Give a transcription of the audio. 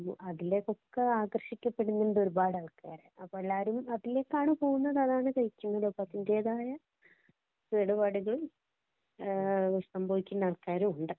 അതിലേക്കൊക്കെ ആകര്‍ഷിക്കപ്പെടുന്നുണ്ട് ഒരുപാട് ആള്‍ക്കാര്. അപ്പൊ എല്ലാരും അതിലേക്കാണ് പോകുന്നത്. അതാണ് കഴിക്കുന്നത്. അപ്പൊ അതിന്‍റേതായ കേടുപാടുകള്‍ സംഭവിക്കുന്ന ആള്‍ക്കാരും ഉണ്ട്.